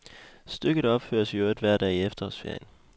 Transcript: Stykket opføres i øvrigt hver dag i efterårsferien.